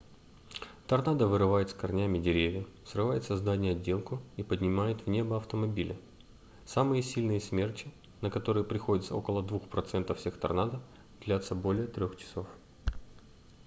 торнадо вырывают с корнями деревья срывают со зданий отделку и поднимают в небо автомобили самые сильные смерчи на которые приходится около 2 процентов всех торнадо длятся более трех часов